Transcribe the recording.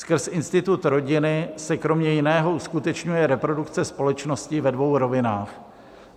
Skrz institut rodiny se kromě jiného uskutečňuje reprodukce společnosti ve dvou rovinách.